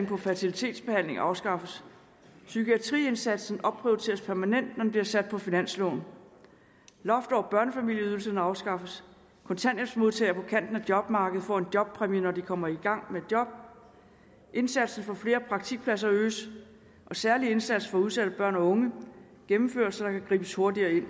på fertilitetsbehandling afskaffes psykiatriindsatsen opprioriteres permanent men bliver sat på finansloven loft over børnefamilieydelsen afskaffes kontanthjælpsmodtagere på kanten af jobmarkedet får en jobpræmie når de kommer i gang med et job indsatsen for flere praktikpladser øges en særlig indsats for udsatte børn og unge gennemføres så der kan gribes hurtigere ind